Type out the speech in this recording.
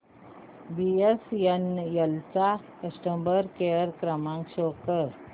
BSNL चा customer care क्रमांक show कर